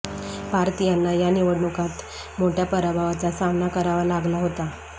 पार्थ यांना या निवडणुकांत मोठ्या पराभवाचा सामना करावा लागला होता